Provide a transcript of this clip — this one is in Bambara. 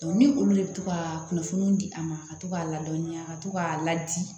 ni olu de bɛ to ka kunnafoniw di a ma ka to k'a ladɔnniya ka to k'a ladi